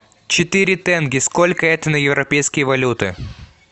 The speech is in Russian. четыре тенге сколько это на европейские валюты